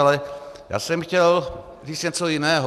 Ale já jsem chtěl říct něco jiného.